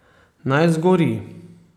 Naj zgori.